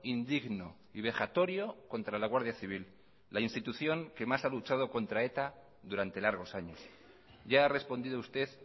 indigno y vejatorio contra la guardia civil la institución que más ha luchado contra eta durante largos años ya ha respondido usted